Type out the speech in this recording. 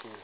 ke